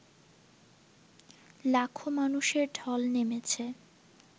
লাখো মানুষের ঢল নেমেছে